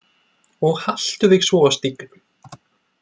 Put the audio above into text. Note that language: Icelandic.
Og haltu þig svo á stígnum.